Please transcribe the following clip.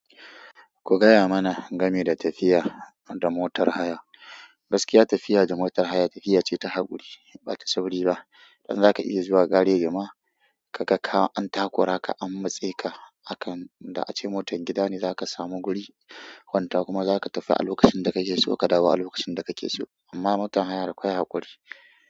Ku gaya mana game da tafiya da motar haya. Gaskiya tafiya da motar haya tafiya ce ta haƙuri, ba ta sauri ba. Idan zaka iya zuwa gareji ma, kaga ka an takura ka, an matse ka a kan inda ace motar gida ne za ka samu guri. Kwanta kuma za ka tafi a lokacin da ka ke so ka dawo a lokacin da ka ce so. Amma motar haya akwai haƙuri.